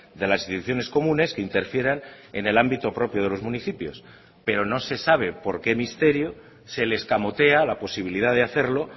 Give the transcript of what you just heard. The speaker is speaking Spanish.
de las instituciones comunes que interfieran en el ámbito propio de los municipios pero no se sabe por qué misterios se le escamotea la posibilidad de hacerlo